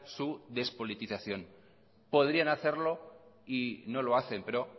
su despolitización podrían hacerlo y no lo hacen pero